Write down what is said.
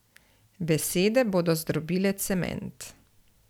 Besede bodo zdrobile cement.